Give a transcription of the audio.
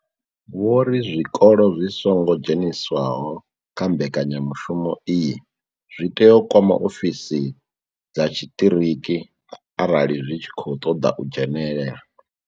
Vho ri zwikolo zwi songo dzheniswaho kha mbekanya mushumo iyi zwi tea u kwama ofisi dza tshiṱiriki arali zwi tshi khou ṱoḓa u dzhenela.